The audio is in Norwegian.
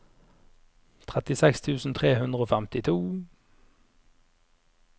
trettiseks tusen tre hundre og femtito